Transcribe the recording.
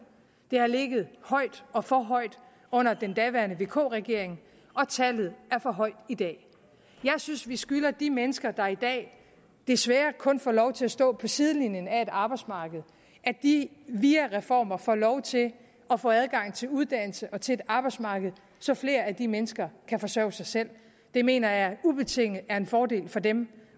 det har ligget højt og for højt under den daværende vk regering og tallet er for højt i dag jeg synes vi skylder de mennesker der i dag desværre kun får lov til at stå på sidelinjen af et arbejdsmarked at de via reformer får lov til at få adgang til uddannelse og til et arbejdsmarked så flere af de mennesker kan forsørge sig selv det mener jeg ubetinget er en fordel for dem